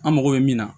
An mago bɛ min na